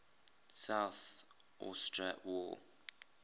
south ossetia war